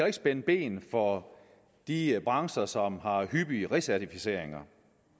ikke spænde ben for de brancher som har hyppige recertificeringer